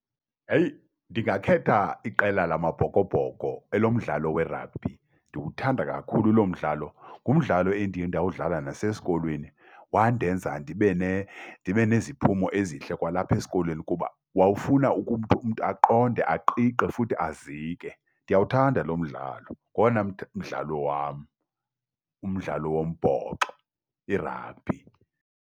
Heyi! Ndingakhetha iqela lamaBhokoBhoko elomdlalo werabhi, ndiwuthanda kakhulu loo mdlalo. Ngumdlalo endiye ndawudlala nasesikolweni, wandenza ndibe neziphumo ezintle kwalapha esikolweni kuba wawufuna umntu aqonde aqiqe futhi azike. Ndiyawuthanda lo mdlalo ngowona mdlalo wam, umdlalo wombhoxo, irabhi.